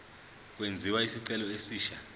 kwenziwe isicelo esisha